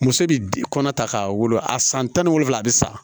Muso de kɔnɔ ta k'a wolo a san tan ni wolonwula a bɛ sa